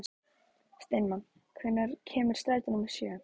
Steinmann, hvenær kemur strætó númer sjö?